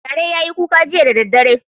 Gyare ya yi kuka jiya da daddare.